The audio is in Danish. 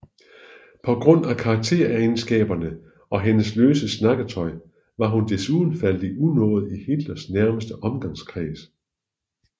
På grund af karakteregenskaberne og hendes løse snakketøj var hun desuden faldet i unåde i Hitlers nærmeste omgangskreds